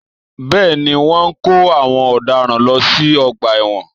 Bẹ́ẹ̀ ni, wọ́n ń kó àwọn ọ̀daràn lọ sí ọgbà ẹ̀wọ̀n